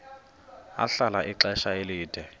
ahlala ixesha elide